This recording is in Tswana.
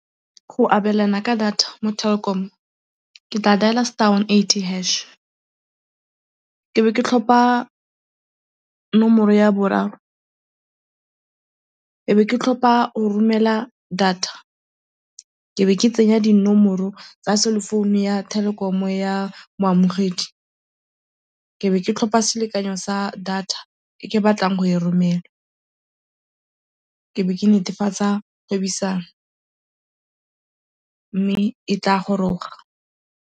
Go abelana ka data mo Telkom ke tla dailer star one eighty hash, ebe ke tlhopa nomoro ya boraro, ebe ke tlhopa go romela data, ebe ke tsenya dinomoro tsa cell phone-u ya Telkom ya moamogedi, ebe ke tlhopa selekanyo sa data e ke batlang go e romela, ebe ke netefatsa mme e tla goroga.